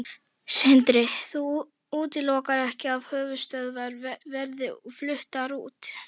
Sindri: Þú útilokar ekki að höfuðstöðvar verði fluttar út?